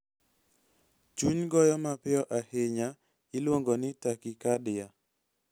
Chuny goyo mapiyo ahinya iluongo ni tachycardia (TAK-ih-KAR-de-ah).